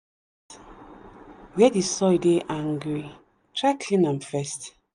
where the soil dey angry try clean am first.